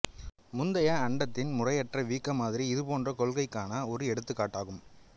முந்தைய அண்டத்தின் முறையற்ற வீக்க மாதிரி இது போன்ற கொள்கைக்கான ஒரு எடுத்துக்காட்டாகும்